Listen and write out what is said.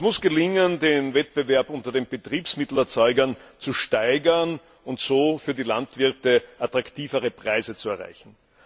Es muss gelingen, den Wettbewerb unter den Betriebsmittelerzeugern zu steigern und so für die Landwirte attraktivere Preise zu erreichen.